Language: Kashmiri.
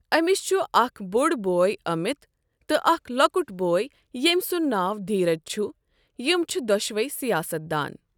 أمِس چھُ اکھ بوٚڈ بوے امیت تہٕ اکھ لۄکُٹ بوے ییٚمۍ سُنٛد ناو دھیرج چھُ، یِم چھِ دۄشوٕے سِیاست دان۔